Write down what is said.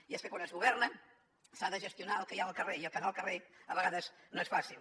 i és que quan es governa s’ha de gestionar el que hi ha al carrer i el que hi ha al carrer a vegades no és fàcil